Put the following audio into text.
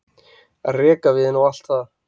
rekaviðinn og allt það.